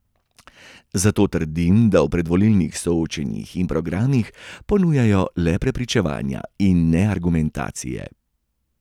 Zato trdim, da v predvolilnih soočenjih in programih ponujajo le prepričevanje, in ne argumentacije.